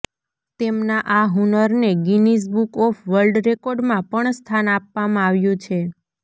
તેમનાં આ હુનરને ગિનિઝ બુક ઓફ વર્લ્ડ રેકોર્ડમાં પણ સ્થાન આપવામાં આવ્યું છે